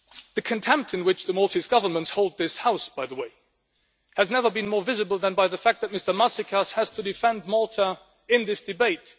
The contempt in which the Maltese Government holds this House, by the way, has never been more visible than by the fact that Mr Maasikas has to defend Malta in this debate.